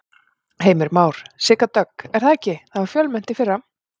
Heimir Már: Sigga Dögg er það ekki, það var fjölmennt í fyrra?